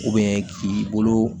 k'i bolo